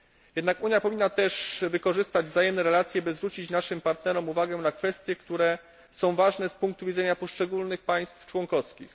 Jednak Unia powinna też wykorzystać wzajemne relacje, by zwrócić naszym partnerom uwagę na kwestie, które są ważne z punktu widzenie niektórych państw członkowskich.